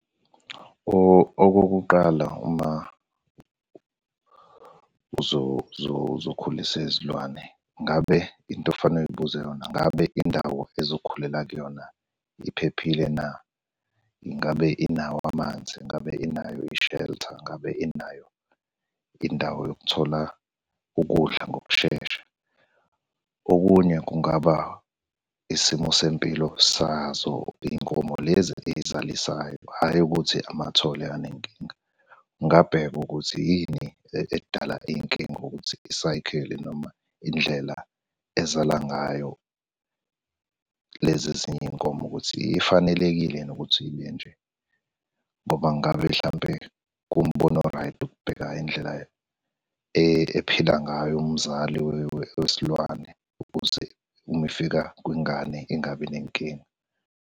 Okokuqala uma uzokhulisa izilwane, ngabe into okufanele uzibuze yona, ngabe indawo ey'zokhulela kuyona iphephile na? Ingabe inawo amanzi? Ngabe inayo i-shelter? Ngabe inayo indawo yokuthola ukudla ngokushesha? Okunye kungaba isimo sempilo sazo iy'nkomo lezi ey'zalisayo hhayi ukuthi amathole anenkinga. Ngingabheka ukuthi yini edala iy'nkinga ukuthi i-cycle noma indlela ezala ngayo lezi ezinye iy'nkomo ukuthi ifanelekile yini ukuthi ibe nje, ngoba ngabe hlampe kuwumbono o-right ukubhekana indlela ephila ngayo umzali wesilwane, ukuze uma efika kwengane ingabi nenkinga.